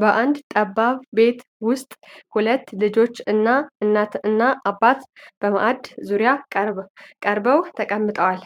በአንድ ጠባብ ቤት ዉስጥ ሁለት ልጆች እና እናት እና አባት በማእድ ዙሪያ ከበው ተቀምጠዋል።